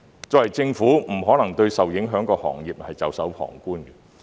作為政府，不可能對受影響的行業袖手旁觀。